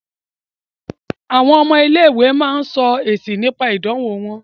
Àwọn ọmọ ilé-ìwé ń sọ̀rọ̀ nípa èsì ìdánwọ̀ wọn.